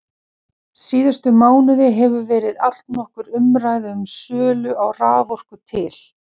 Síðustu mánuði hefur verið allnokkur umræða um sölu á raforku til